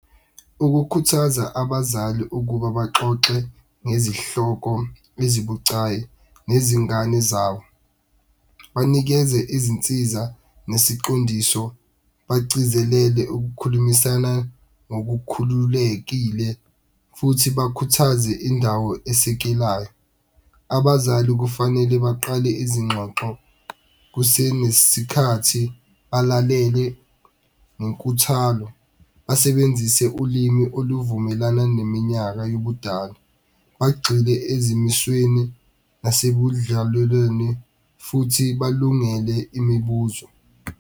Ukukhuthaza abazali ukuba baxoxe ngezihloko ezibucayi nezingane zabo, banikeze izinsiza nesiqondiso, bagcizelele ukukhulumisana ngokukhululekile futhi bakhuthaze indawo esekelayo. Abazali kufanele baqale izingxoxo kusenesikhathi, balalele ngenkuthalo basebenzise ulimi oluvumelana neminyaka yobudala. Bagxile ezimisweni futhi balungele imibuzo.